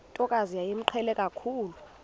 ntokazi yayimqhele kakhulu